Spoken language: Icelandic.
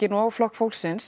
og Flokk fólksins